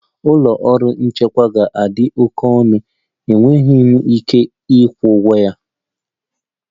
Ụlọ ọrụ nchịkwa ga-adị oke ọnụ, enweghị m ike ịkwụ ụgwọ ya